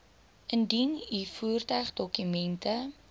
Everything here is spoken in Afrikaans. indien u voertuigdokumente